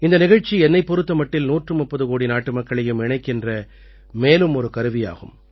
இந்த நிகழ்ச்சி என்னைப் பொறுத்த மட்டில் 130 கோடி நாட்டுமக்களையும் இணைக்கின்ற மேலும் ஒரு கருவியாகும்